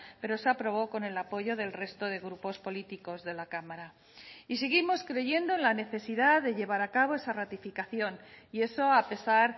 pero se aprobó con el apoyo del resto de grupos políticos de la cámara y seguimos creyendo en la necesidad de llevar a cabo esa ratificación y eso a pesar